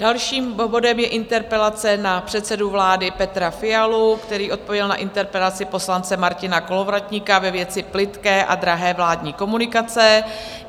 Dalším bodem je interpelace na předsedu vlády Petra Fialu, který odpověděl na interpelaci poslance Martina Kolovratníka ve věci Plytké a drahé vládní komunikace.